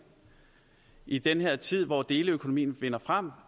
i den her tid hvor deleøkonomien vinder frem